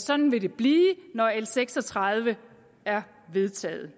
sådan vil det blive når l seks og tredive er vedtaget